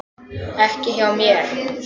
Ekki hjá mér.